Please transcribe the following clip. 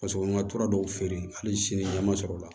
Paseke n ka tora dɔw feere hali sini ɲɛma sɔrɔ la